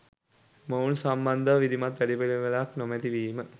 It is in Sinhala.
මොවුන් සම්බන්ධව විධිමත් වැඩපිලිවෙලක් නෙමැති වීම